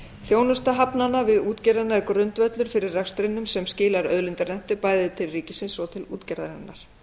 þjónusta hafnanna við útgerðina er grundvöllur fyrir rekstrinum sem skilar auðlindarentu bæði til ríkisins og til útgerðarinnar